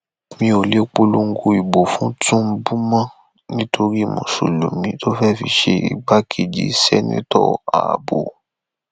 mi ò lè polongo ìbò fún tìǹbù mọ nítorí mùsùlùmí tó fẹẹ fi ṣe igbákejìseneto abbo